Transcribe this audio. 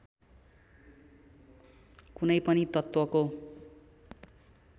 कुनै पनि तत्त्वको